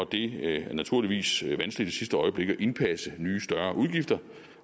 det er naturligvis vanskeligt i sidste øjeblik at indpasse nye større udgifter